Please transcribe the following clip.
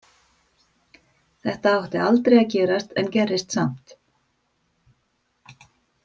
Þetta átti aldrei að gerast en gerðist samt.